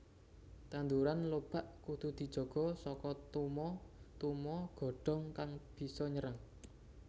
Tanduran lobak kudu dijaga saka tuma tuma godhong kang bisa nyerang